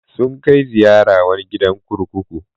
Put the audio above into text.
Sun kai ziyara wani gidan kurkuku.